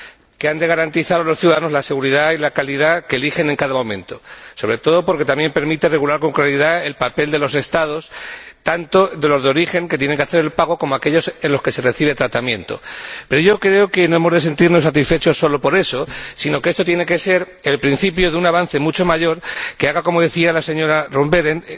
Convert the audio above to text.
que han de garantizar a los ciudadanos la seguridad y la calidad que eligen en cada momento y, sobre todo, porque también permite regular con claridad el papel de los Estados, tanto de los de origen, que tienen que hacer el pago, como de aquellos en los que se recibe tratamiento. Pero creo que no hemos de sentirnos satisfechos solo por eso, sino que esto tiene que ser el principio de un avance mucho mayor, que haga de esta Directiva —como decía la señora Roth Behrendt—